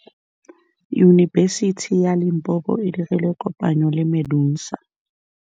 Yunibesiti ya Limpopo e dirile kopanyô le MEDUNSA.